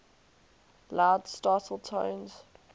loud startle tones